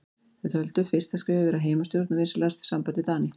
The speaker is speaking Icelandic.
Þeir töldu fyrsta skrefið vera heimastjórn og vinsamlegt samband við Dani.